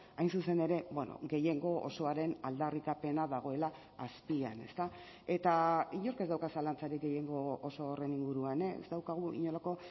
hain zuzen ere gehiengo osoaren aldarrikapena dagoela azpian eta inork ez dauka zalantzarik gehiengo oso horren inguruan ez daukagu inolako